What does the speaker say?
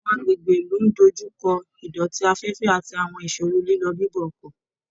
Àwọn agbègbè ìlú ń dójú kọ ìdọ̀tí afẹ́fẹ́ àti àwọn ìṣòro lílọ bíbọ̀ ọkọ̀